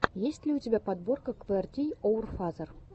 есть ли у тебя подборка квертийоурфазер